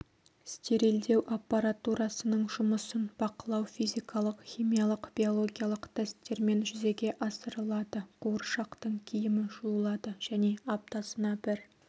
стерилдеу аппаратурасының жұмысын бақылау физикалық химиялық биологиялық тесттермен жүзеге асырылады қуыршақтың киімі жуылады және аптасына бір